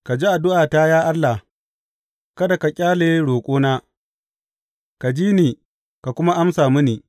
Ka ji addu’ata, ya Allah, kada ka ƙyale roƙona; ka ji ni ka kuma amsa mini.